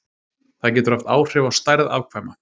það getur haft áhrif á stærð afkvæma